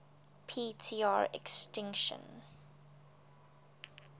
p tr extinction